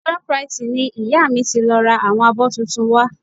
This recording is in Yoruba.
Shoprite ni ìyá mi ti lọ ra àwọn abọ́ tuntun wa